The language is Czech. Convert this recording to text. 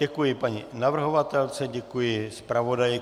Děkuji paní navrhovatelce, děkuji zpravodaji.